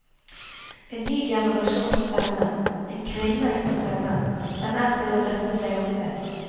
En ny generasjons stemme, en kvinnes stemme, den er til å rette seg opp ved.